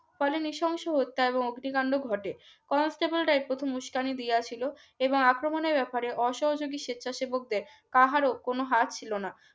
নৃশংস হত্যা ও অগ্নিকাণ্ড ঘটে কনস্টেবল এর প্রথম উস্কানি দিয়াছিল এবং আক্রমণের ব্যাপারে অসহযোগী স্বেচ্ছাসেবকদের কারো কোন হাত ছিল না